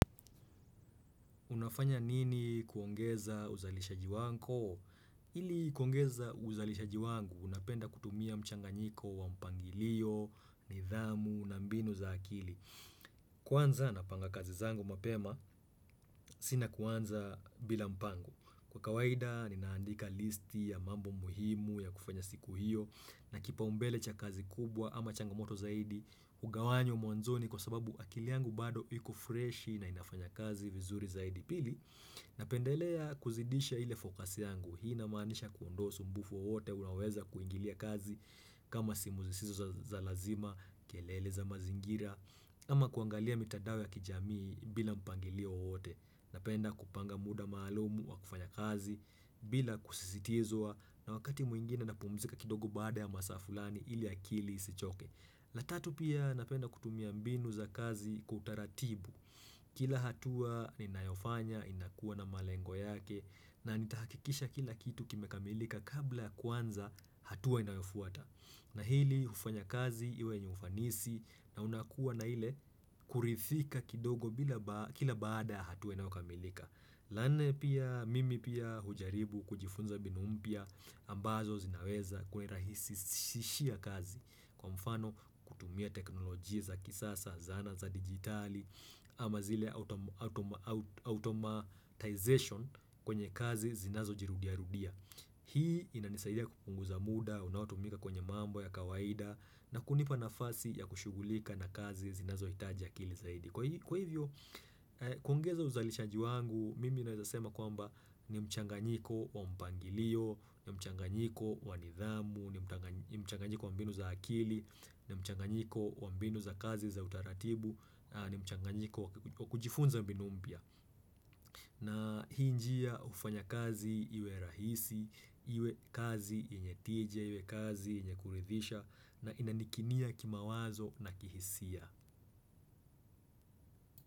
Unafanya nini kuongeza uzalishaji wako? Ili kuongeza uzalishaji wangu, napenda kutumia mchanganyiko wa mpangilio, nidhamu, na mbinu za akili. Kwanza napanga kazi zangu mapema, si na kuanza bila mpango. Kwa kawaida, ninaandika listi ya mambo muhimu ya kufanya siku hio, na kipaumbele cha kazi kubwa ama changamoto zaidi, kugawanyo mwanzoni kwa sababu akili yangu bado iko freshi na inafanya kazi vizuri zaidi pili napendelea kuzidisha ile fokasi yangu hii namaanisha kuondoa usumbufu wowote unaoweza kuingilia kazi kama simu zisizo za lazima, kelele za mazingira ama kuangalia mitandao ya kijamii bila mpangilio wowote napenda kupanga muda maalumu wa kufanya kazi bila kusisitizwa na wakati mwingine napumzika kidogo bada ya masaa fulani ili akili isichoke la tatu pia napenda kutumia mbinu za kazi kwa utaratibu. Kila hatua ninayofanya inakuwa na malengo yake na nitahakikisha kila kitu kime kamilika kabla ya kuanza hatua inayofuata. Na hili hufanya kazi iwe yenye ufanisi na unakuwa na ile kurithika kidogo kila baada hatua inayokamilika. La nne pia mimi pia hujaribu kujifunza mbinu mpya ambazo zinaweza kunirahisishia kazi kwa mfano kutumia teknolojia za kisasa, zana za digitali ama zile automatization kwenye kazi zinazo jirudia rudia. Hii inanisaidia kupunguza muda, unaotumika kwenye mambo ya kawaida na kunipa nafasi ya kushugulika na kazi zinazo hitaji akili zaidi. Kwa hivyo, kuongeza uzalishaji wangu, mimi naweza sema kwamba ni mchanganyiko wa mpangilio, ni mchanganyiko wa nidhamu, ni mchanganyiko wa mbinu za akili, ni mchanganyiko wa mbinu za kazi za utaratibu, na ni mchanganyiko wa kujifunza mbinu mpya. Na hii njia hufanya kazi iwe rahisi, iwe kazi yenye tije, iwe kazi yenye kuridhisha na inanikinia kimawazo na kihisia.